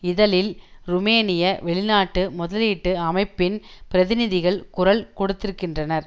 இதழில் ருமேனிய வெளிநாட்டு முதலீட்டு அமைப்பின் பிரதிநிதிகள் குரல் கொடுத்திருக்கின்றனர்